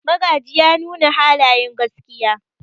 Magaji ya nuna halayen gaskiya.